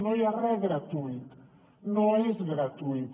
no hi ha res gratuït no és gratuït